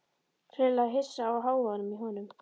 Greinilega hissa á hávaðanum í honum.